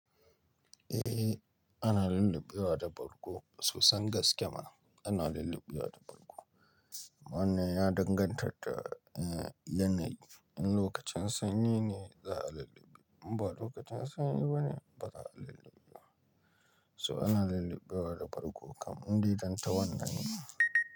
Eh ana lallube wa da bargo sosan gaske ma ana lallube wa da bargo. Wannan ya danganta da, eh yanayi, in lokacin sanyi ne za a laluba, in ba lokacin sanyi bane ba za a lalluba ba. So ana lallube wa da bargo kam in dai dan tawannan ne.